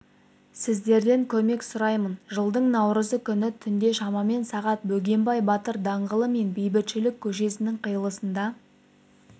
сіздерден көмек сұраймын жылдың наурызы күні түнде шамамен сағат бөгенбай батыр даңғылы мен бейбітшілік көшесінің қиылысында